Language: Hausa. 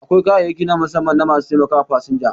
Akwai kayayyaki na musamman na ma su taimakawa fasinja